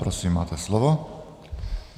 Prosím, máte slovo.